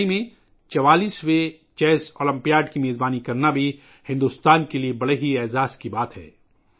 چنئی میں 44ویں شطرنج اولمپیاڈ کی میزبانی کرنا بھارت کے لئے بھی ایک بڑا اعزاز ہے